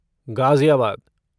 Ghaziabad